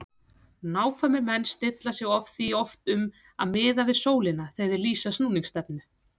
Nákvæmir menn stilla sig því oft um að miða við sólina þegar þeir lýsa snúningsstefnu.